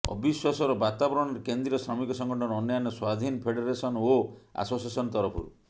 ଅବିଶ୍ୱାସର ବାତାବରଣରେ କେନ୍ଦ୍ରୀୟ ଶ୍ରମିକ ସଂଗଠନ ଅନ୍ୟାନ୍ୟ ସ୍ୱାଧିନ ଫେଡେରେସନ ଓ ଆସୋସିଏସନ ତରଫରୁ